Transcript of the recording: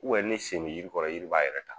U wɛ ni sen be yiri kɔrɔ yiri b'a yɛrɛ ta.